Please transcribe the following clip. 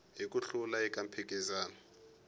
hi ku hlula eka mphikizano